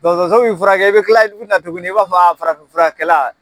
Dɔtɔso b'i furakɛ i bɛ kila tuguni i b'a fɔ farafinfurakɛla.